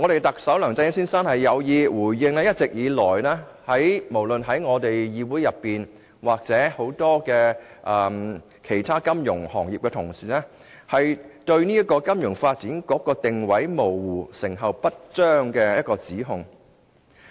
特首梁振英先生似乎刻意以此回應議會，以至眾多其他金融業從業員一直以來就金發局定位模糊、成效不彰所提出的指控。